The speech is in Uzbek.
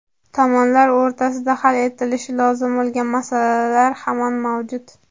Tomonlar o‘rtasida hal etilishi lozim bo‘lgan masalalar hamon mavjud.